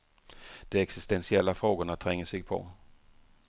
De existentiella frågorna tränger sig på.